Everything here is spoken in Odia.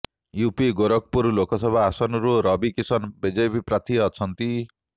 ୟୁପି ଗୋରଖପୁର ଲୋକସଭା ଆସନରୁ ରବି କିଷାନ ବିଜେପି ପ୍ରାର୍ଥୀ ଅଛନ୍ତି